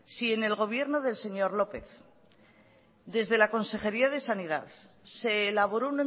si en el gobierno del señor lópez desde la consejería de sanidad se elaboró